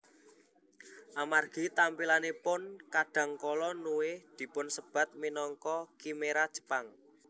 Amargi tampilanipun kadang kala Nue dipunsebat minangka khimera Jepang